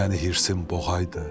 Məni hirsim boğaydı.